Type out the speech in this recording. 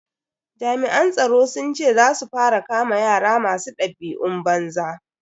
Jami'an tsaro sun ce za su fara kama yara masu dabi'un banza.